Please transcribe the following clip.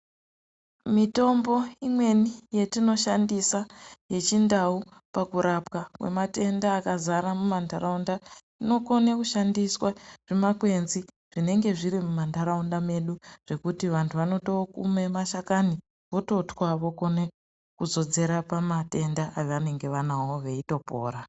Mitombo imweni yatino shandisa ye chindau paku rapwa kwe matenda aka zara mu mantaraunda ino kone kushandiswa makwenzi zvinenge zviri mu mantaraunda medu zvekuti vantu vanoto mume ma shakani vototwa vokone kuto zodzera pa matanda avanenge anavo veito pora.